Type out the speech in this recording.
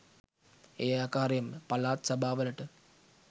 ඒ ආකාරයෙන්ම පලාත් සභා වලට